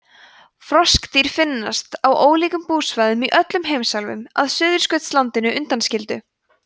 froskdýr finnast á ólíkum búsvæðum í öllum heimsálfum að suðurskautslandinu undanskildu